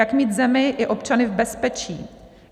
Jak mít zemi i občany v bezpečí.